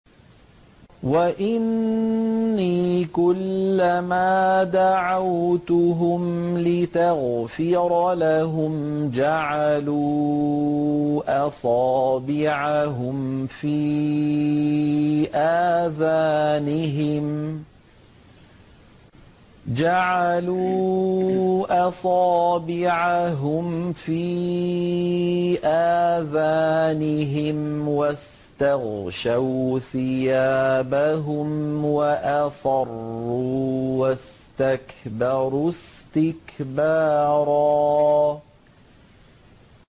وَإِنِّي كُلَّمَا دَعَوْتُهُمْ لِتَغْفِرَ لَهُمْ جَعَلُوا أَصَابِعَهُمْ فِي آذَانِهِمْ وَاسْتَغْشَوْا ثِيَابَهُمْ وَأَصَرُّوا وَاسْتَكْبَرُوا اسْتِكْبَارًا